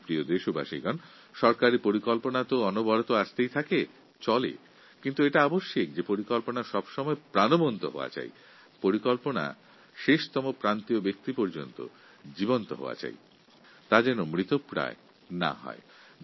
আমার প্রিয় দেশবাসী সরকারী প্রকল্প নিরন্তর আসতে থাকে চলতে থাকে কিন্তু এটা বিশেষভাবে প্রয়োজন যে প্রকল্পগুলি কার্যকরী এবং প্রান্তিক ব্যক্তি পর্যন্ত সজীব ও প্রাণবন্ত থাকুক ফাইলবন্দী হয়ে তার মৃত্যু কাম্য নয়